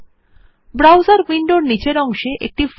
browser উইন্ডোর নীচের অংশে একটি ফাইন্ড বার প্রদর্শিত হচ্ছে